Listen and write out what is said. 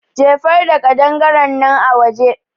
Jefar da ƙadangarennan a waje